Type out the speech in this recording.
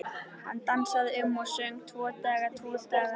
Hann dansaði um og söng: Tvo daga, tvo daga